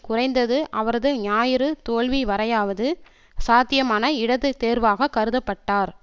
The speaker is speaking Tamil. குறைந்தது அவரது ஞாயிறு தோல்விவரையாவது சாத்தியமான இடது தேர்வாகக் கருத பட்டார்